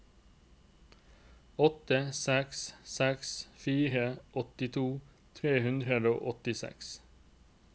åtte seks seks fire åttito tre hundre og åttiseks